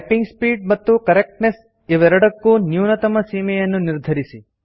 typing speed ಮತ್ತು correctness ಇವೆರಡಕ್ಕೂ ನ್ಯೂನತಮ ಸೀಮೆಯನ್ನು ನಿರ್ಧರಿಸಿ